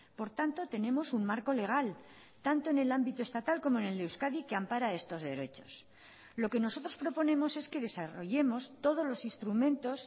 por tanto tenemos un marco legal tanto en el ámbito estatal como en el de euskadi que ampara estos derechos lo que nosotros proponemos es que desarrollemos todos los instrumentos